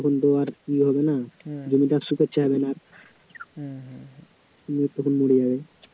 তখন জল হয়ে যায় তখন তো আর কী হবে না জমিটা আর না তো মরে যাবে